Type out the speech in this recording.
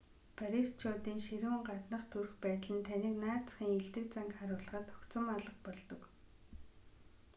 парисчуудын ширүүн гаднах төрх байдал нь таныг наад захын эелдэг занг харуулахад огцом алга болдог